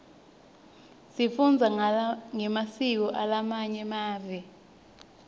sifundza ngemasiko alamanye mave